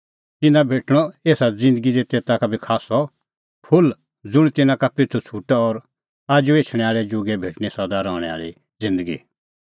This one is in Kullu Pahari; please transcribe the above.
एऊ जुगै ता भेटणअ तिन्नां कई गुणा खास्सअ और आजू एछणैं आल़ै जुगै भेटणीं सदा रहणैं आल़ी ज़िन्दगी